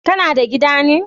Kana da gida ne?